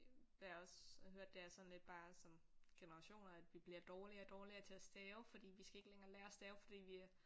Hvad jeg også har hørt det er sådan lidt bare sådan generationer at vi bliver dårligere og dårligere til at stave fordi vi skal ikke længere lære at stave fordi vi øh